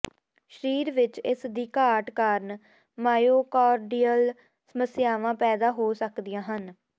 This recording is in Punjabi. ਸਰੀਰ ਵਿਚ ਇਸ ਦੀ ਘਾਟ ਕਾਰਨ ਮਾਇਓਕਾਰਡੀਅਲ ਸਮੱਸਿਆਵਾਂ ਪੈਦਾ ਹੋ ਸਕਦੀਆਂ ਹਨ